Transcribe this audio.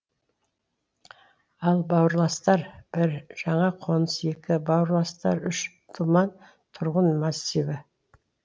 ал бауырластар бір жаңа қоныс екі бауырластар үш думан тұрғын массиві